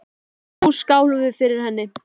Og nú skálum við fyrir henni.